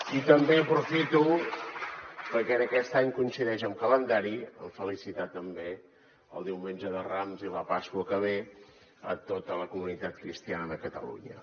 i també aprofito perquè aquest any coincideix en calendari per felicitar també el diumenge de rams i la pasqua que ve a tota la comunitat cristiana de catalunya